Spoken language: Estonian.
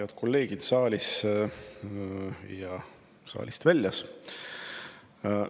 Head kolleegid saalis ja saalist väljas!